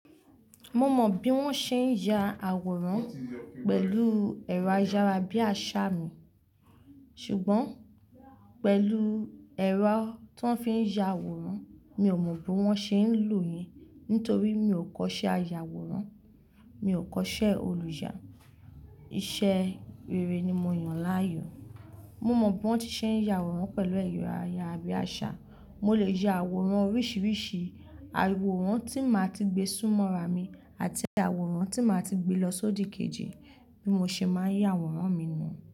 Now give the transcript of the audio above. Mo mọ bí wọ́n ṣe ń ya àwòrán pẹ̀lú ẹ̀rọ ayára bí àṣá mi, ṣùgbọ́n pẹ̀lú ẹ̀rọ ti won fi ń ya àwòrán, mi ò mọ bí wọ́n ṣe ń lò yen nítorí mi ò kọ́ṣẹ́ aya àwòrán, mi ò kọ́ṣẹ́ olùyà. Iṣẹ́ rere ni mo yàn láàyò. Mo mọ bí wọ́n ti ṣe ń ya àwòrán pẹ̀lú ẹ̀rọ ayára bí àṣá, mo lè ya àwòrán oríṣiríṣi, àwòrán tí màá ti gbé súnmọ́ ara mi àti àwòrán tí màá ti gbé lọ sódikeji bí mo ṣe máa ń ya àwòrán mi nu.